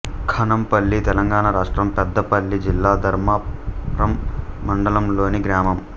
ఖానంపల్లి తెలంగాణ రాష్ట్రం పెద్దపల్లి జిల్లా ధర్మారం మండలంలోని గ్రామం